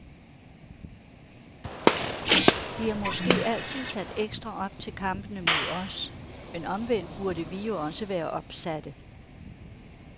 De er måske altid sat ekstra op til kampene mod os, men omvendt burde vi jo også være opsatte.